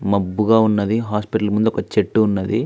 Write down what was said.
మబ్బుగా ఉన్నది హాస్పిటల్ ముందు ఒక చెట్టు ఉన్నది.